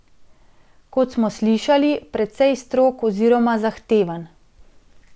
Kot smo slišali, precej strog oziroma zahteven.